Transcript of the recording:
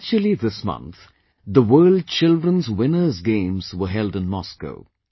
Actually, this month, the World Children's Winners Games were held in Moscow